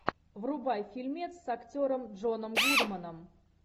врубай фильмец с актером джоном гудманом